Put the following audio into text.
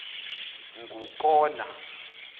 ngukona